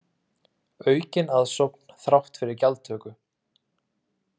Aukin aðsókn þrátt fyrir gjaldtöku